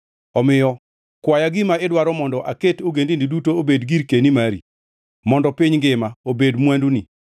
Omiyo kwaya gima idwaro mondo aket ogendini duto obed girkeni mari, mondo piny ngima obed mwanduni.